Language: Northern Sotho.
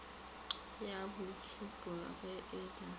ya boitšhupo ge e le